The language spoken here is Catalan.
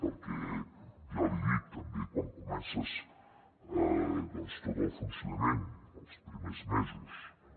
perquè ja l’hi dic també quan comences tot el funcionament els primers mesos no